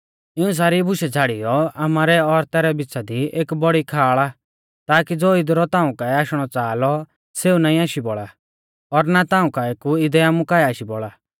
इऊं सारी बुशै छ़ाड़ियौ आमारै और तैरै बिच़ा दी एक बौड़ी खाल़ आ ताकी ज़ो इदरु ताऊं काऐ आशणौ च़ाहा लौ सेऊ नाईं आशी बौल़ा और ना ताऊं काऐ कु इदै आमु काऐ आशी बौल़ा